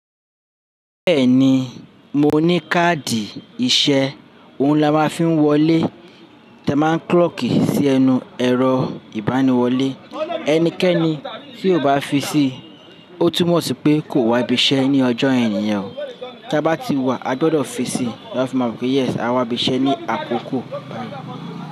Bẹ́ẹ̀ni, mo ní káàdì ìṣe ohun la máa ń fi ń wọlé. Tẹ ma clọcki sí ẹnu ẹ̀rọ ìbániwọlé. Ẹnikẹ́ni tí kò bá fi sí, ó túmọ̀ sí pé kò wá ibi iṣẹ́ ní ọjọ́ ènìyàn. Tí a bá ti wá, a gbọdọ̀ fi sí láti máa mọ̀ pé yes a wá ibi iṣẹ́ ní àkókò bá yí.